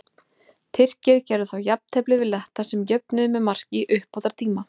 Tyrkir gerðu þá jafntefli við Letta sem jöfnuðu með marki í uppbótartíma.